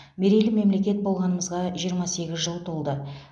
мерейлі мемлекет болғанымызға жиырма сегіз жыл толды